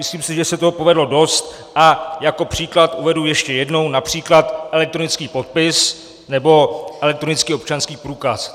Myslím si, že se toho povedlo dost, a jako příklad uvedu ještě jednou například elektronický podpis nebo elektronický občanský průkaz.